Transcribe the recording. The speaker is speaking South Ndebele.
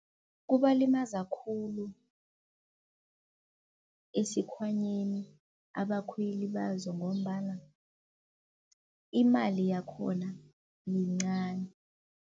Kubalimaza khulu esikhwanyeni abakhweli bazo ngombana imali yakhona yincani.